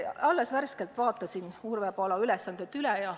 Ma värskelt vaatasin Urve Palo ülesanded üle.